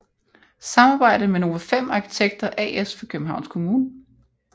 Samarbejde med Nova5 arkitekter as for Københavns Kommune